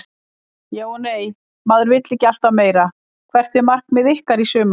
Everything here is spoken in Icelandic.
Já og nei vill maður ekki alltaf meira Hvert er markmið ykkar í sumar?